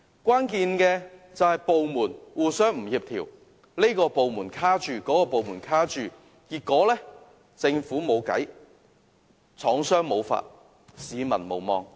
關鍵原因是政府部門互不協調，這個部門卡着，那個部門卡着，結果政府無計，廠戶無法，市民無望。